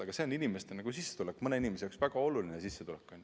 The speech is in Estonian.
Aga see on mõne inimese jaoks väga oluline sissetulek.